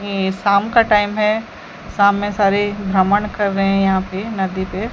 ये शाम का टाइम है शाम में सारे भ्रमण कर रहे हैं यहां पे नदी पे।